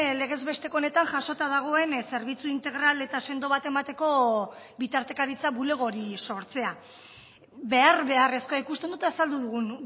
legez besteko honetan jasota dagoen zerbitzu integral eta sendo bat emateko bitartekaritza bulego hori sortzea behar beharrezkoa ikusten dut azaldu dugun